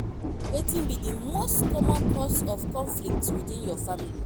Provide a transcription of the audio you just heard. wetin be di most common cause of conflicts within your family?